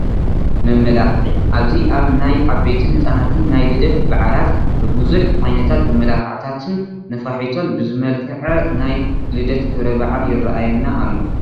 መመላኽዒ፡- ኣብዚ ኣብ ናይ ዓበይትን ህፃናትን ናይ ልደት በዓላት ብብዙሕ ዓይነት መመላኽዕታትን ነፋሒቶን ዝመልከዐ ናይ ልደት ክብረ በዓል ይራኣየና ኣሎ፡፡